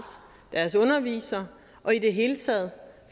deres undervisere og i det hele taget